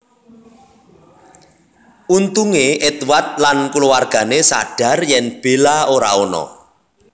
Untungé Edward lan kulawargané sadhar yen Bella ora ana